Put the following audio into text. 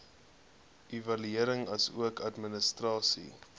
evaluering asook administrasie